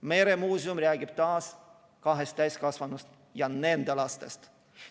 Meremuuseum räägib taas kahest täiskasvanust ja nende lastest.